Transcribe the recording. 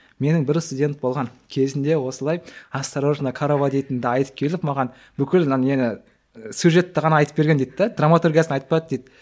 менің бір студент болған кезінде осылай осторожна корова дейтінді айтып келіп маған бүкіл мына нені ы сюжетті ғана айтып берген дейді де драматургиясын айтпады дейді